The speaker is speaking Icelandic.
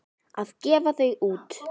Að gefa þau út!